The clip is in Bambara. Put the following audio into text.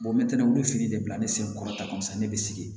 n bɛ tɛntɛ olu fili de la ne sen kɔrɔta kɔni tɛ sa ne bɛ sigi